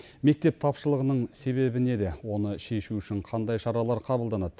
мектеп тапшылығының себебі неде оны шешу үшін қандай шаралар қабылданады